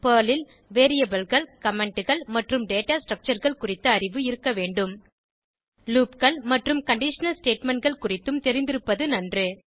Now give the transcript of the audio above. Perl ல் Variableகள் Commentகள் மற்றும் டேட்டா Structureகள் குறித்த அறிவு இருக்க வேண்டும் loopகள் மற்றும் கண்டிஷனல் statementகள் குறித்தும் தெரிந்திருப்பது நன்று